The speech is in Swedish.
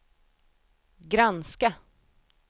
granska